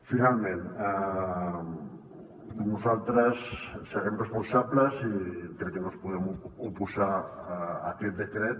finalment nosaltres serem responsables i crec que no ens podem oposar a aquest decret